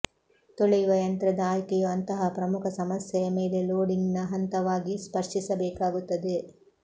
ತೊಳೆಯುವ ಯಂತ್ರದ ಆಯ್ಕೆಯು ಅಂತಹ ಪ್ರಮುಖ ಸಮಸ್ಯೆಯ ಮೇಲೆ ಲೋಡಿಂಗ್ನ ಹಂತವಾಗಿ ಸ್ಪರ್ಶಿಸಬೇಕಾಗುತ್ತದೆ